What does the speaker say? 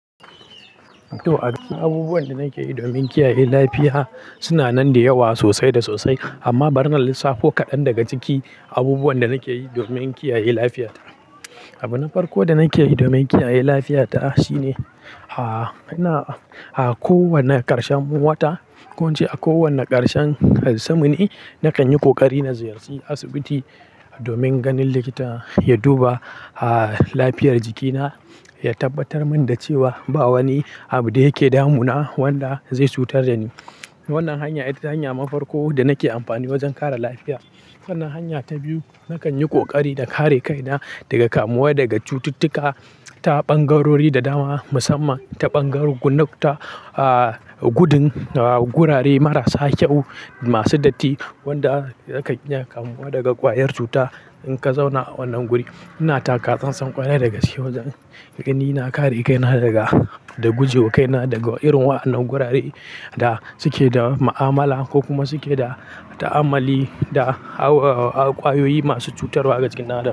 To, a cikin abubuwan da nake yi domin kiyaye lafiya suna nan da yawa sosai da sosai amma bari na lissafo kaɗan daga ciki abubuwan da nake yi domin kiyaye lafiyata. Abu na farko da nake yi domin kiyaye lafiyata shine, a, ina, a kowane ƙarshen wata, ko in ce a kowane ƙarshen har samuni nakan yi ƙoƙari na ziyarci asibiti domin ganin likita ya duba, a, lafiyar jikina, ya tabbatar min da cewa ba wani abu da yake damuna wanda zai cutar da ni. Wannan hanya ita hanya na farko da nake amfani wajen kare lafiya. Sannan hanya ta biyu, nakan yi ƙoƙari na kare kaina daga kamuwa daga cututtuka ta ɓangarori da dama musamman ta ɓangarun gudu, a, gudun, a, gurare marasa kyau masu datti wanda yakan iya kamuwa daga ƙwayar cuta in ka zauna a wannan guri. Ina taka tsantsan ƙwarai dagaske, wajen gani na kare kaina daga, da guje kaina daga irin wa'annan gurare da suke da ma'amala ko kuma suke da ta'amali da ƙwayoyi masu cutarwa a jikin ɗaɗi.